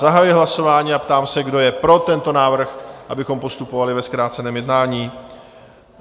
Zahajuji hlasování a ptám se, kdo je pro tento návrh, abychom postupovali ve zkráceném jednání?